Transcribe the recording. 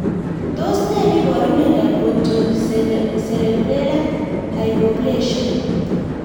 Tos ne neiparu miondop Pontocerebellar hypoplasia